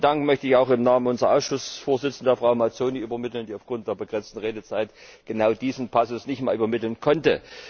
Diesen Dank möchte ich auch im Namen unserer Ausschussvorsitzenden, Frau Mazzoni, übermitteln, die aufgrund der begrenzten Redezeit genau diesen Passus nicht mehr übermitteln konnte.